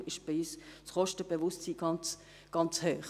Deswegen ist bei uns das Kostenbewusstsein ganz hoch.